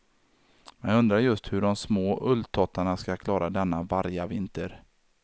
Men jag undrar just hur de små ulltottarna skall klara denna vargavinter.